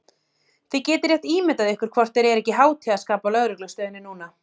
Þið getið rétt ímyndað ykkur hvort þeir eru ekki í hátíðarskapi á lögreglustöðinni núna!